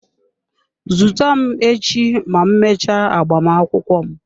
Zute m echi ma m mechaa agbamakwụkwọ m.